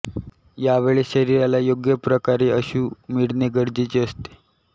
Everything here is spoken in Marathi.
यावेळेस शरीराला योग्य प्रकारे असू मिळणे गरजेचे असते